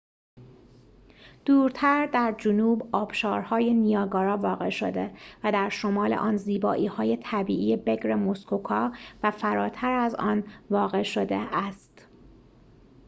دورتر در جنوب آبشارهای نیاگارا واقع شده و در شمال آن زیبایی‌های طبیعی بکر موسکوکا و فراتر از آن واقع شده است